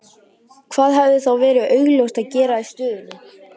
Hvað hefði þá verið augljósast að gera í stöðunni?